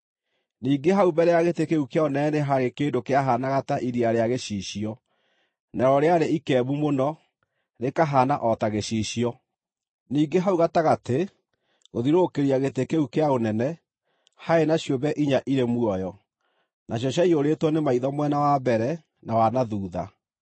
Ningĩ hau mbere ya gĩtĩ kĩu kĩa ũnene nĩ haarĩ kĩndũ kĩahaanaga ta iria rĩa gĩcicio, narĩo rĩarĩ ikembu mũno, rĩkahaana o ta gĩcicio. Ningĩ hau gatagatĩ, gũthiũrũrũkĩria gĩtĩ kĩu kĩa ũnene, haarĩ na ciũmbe inya irĩ muoyo, nacio ciaiyũrĩtwo nĩ maitho mwena wa mbere, na wa na thuutha.